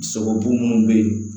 Sogobu minnu bɛ yen